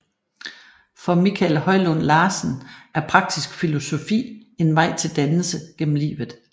For Michael Højlund Larsen er praktisk filosofi en vej til dannelse gennem livet